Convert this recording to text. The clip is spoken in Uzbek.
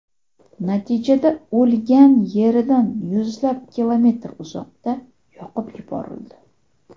Natijada o‘lgan yeridan yuzlab kilometr uzoqda yoqib yuborildi.